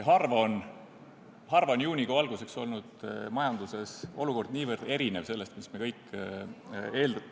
Harva on juunikuu alguseks olnud majanduses olukord niivõrd erinev sellest, mida me kõik oleme eeldanud ...